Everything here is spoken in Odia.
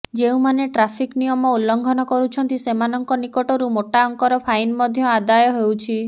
ଯେଉଁମାନେ ଟ୍ରାଫିକ୍ ନିୟମ ଉଲ୍ଲଂଘନ କରୁଛନ୍ତି ସେମାନଙ୍କ ନିକଟରୁ ମୋଟା ଅଙ୍କର ଫାଇନ୍ ମଧ୍ୟ ଆଦାୟ ହେଉଛି